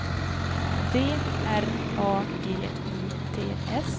D R A G I T S